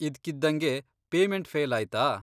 ಇದ್ಕಿದ್ದಂಗೆ payment fail ಆಯ್ತಾ?